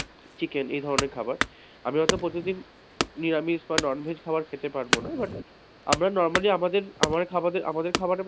chicken এ ধরনের খাবার, আমি হয়তো প্রতিদিন নিরামিষ বা non veg খাবার খেতে পারব না but আমরা normally আমাদের খাবারের,